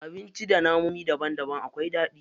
Abinci da namomin daban daban akwai daɗi.